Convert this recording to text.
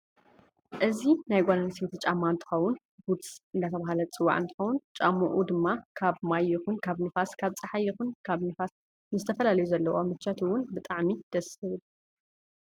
እዚ ናይ ጋል ኣንስቲይት ጫማ እንትከውን ቡትስ እደተበህለ ዝፅዋ እንትከውን ጫምኡ ድማ ካብ ማይ ይኩን ካብ ንፋስ ካብ ፀሓይ ይኩን ካብ ንፋስ ንዝተፈላለዩ ዘለዎ ምቸት እውን ብጣዓሚ ደስ ዝብል እዩ።